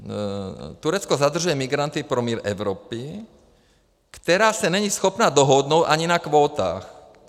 Turecko zadržuje migranty pro mír Evropy, která se není schopna dohodnout ani na kvótách.